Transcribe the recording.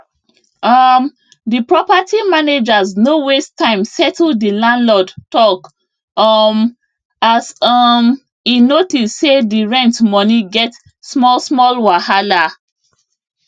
um the property managers no waste time settle the landlord talk um as um e notice say the rent money get smallsmall wahala